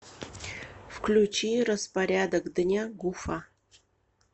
включи распорядок дня гуфа